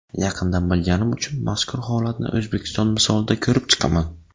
Yaqindan bilganim uchun mazkur holatni O‘zbekiston misolida ko‘rib chiqaman.